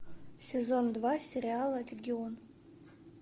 сезон два сериала легион